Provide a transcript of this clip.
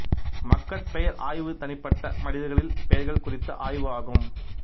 மக்கட்பெயர் ஆய்வு தனிப்பட்ட மனிதர்களில் பெயர்கள் குறித்த ஆய்வு ஆகும்